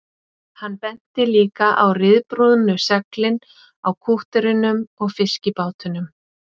Hann benti líka á ryðbrúnu seglin á kútterunum og fiskibátunum